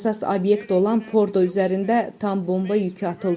Əsas obyekt olan Fordo üzərində tam bomba yükü atıldı.